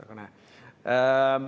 Aga näe!